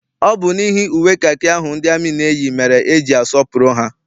Ọ bụ n'ihi uwe kakị ahụ ndị amị na-eyi mere eji asọpụrụ ha.